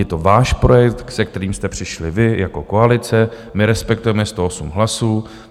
Je to váš projekt, se kterým jste přišli vy jako koalice, my respektujeme 108 hlasů.